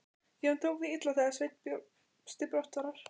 Jón tók því illa þegar Sveinn bjóst til brottfarar.